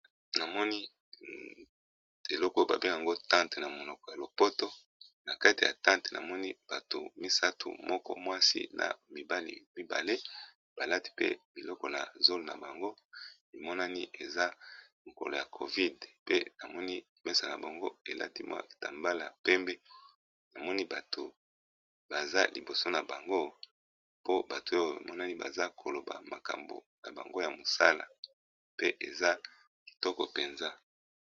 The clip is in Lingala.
Namoni eloko babe yango tante na monoko ya lopoto na kati ya tante namoni bato misato moko mwasi na mibalmibale balati pe biloko na zol na bango bimonani eza mokolo ya covide pe namoni pesa na bango elati mwa etambala ya pembe namoni bato baza liboso na bango po bato oyo bimonani baza koloba makambo na bango ya mosala pe eza kitoko mpenza.